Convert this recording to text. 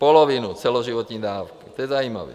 Polovinu celoživotní dávky, to je zajímavé.